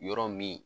Yɔrɔ min